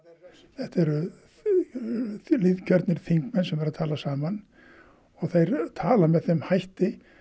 þetta eru þingmenn sem eru að tala saman og þeir tala með þeim hætti